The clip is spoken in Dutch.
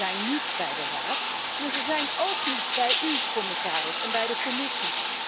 Ze zijn niet bij de Raad, maar ze zijn ook niet bij u, commissaris, noch bij de Commissie.